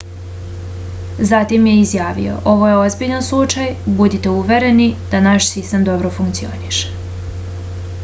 zatim je izjavio ovo je ozbiljan slučaj budite uvereni da naš sistem dobro funkcioniše